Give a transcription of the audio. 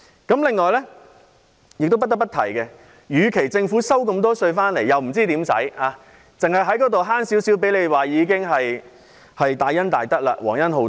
此外，不得不提的一點是，政府收取的稅款很多，但卻不知道該怎樣花，多一點寬免便算是大恩大德，皇恩浩蕩。